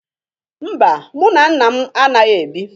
Mba, mụ na nna m anaghị ebi.